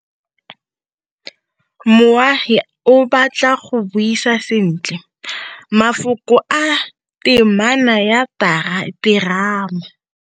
Moagi o batla go buisa sentle, mafoko a temana ya terama.